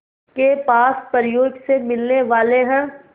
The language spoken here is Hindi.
के पास परियों से मिलने वाले हैं